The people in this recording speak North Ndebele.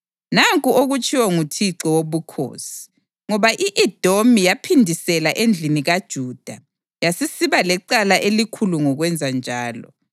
“Nanku okutshiwo nguThixo Wobukhosi: ‘Ngoba i-Edomi yaphindisela endlini kaJuda yasisiba lecala elikhulu ngokwenza njalo,